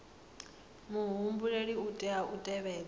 muhumbeli u tea u tevhedza